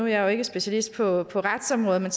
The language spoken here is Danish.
jeg ikke specialist på på retsområdet men